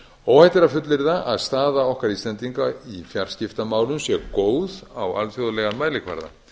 óhætt er að fullyrða að staða okkar íslendinga í fjarskiptamálum sé góð á alþjóðlegan mælikvarða